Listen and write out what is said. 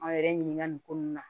An yɛrɛ ɲininka nin ko nunnu na